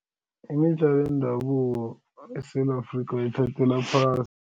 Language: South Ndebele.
Imidlalo yendabuko eSewula Afrika bayithathela phasi.